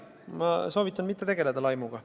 Ma soovitan mitte laimata.